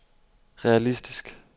realistisk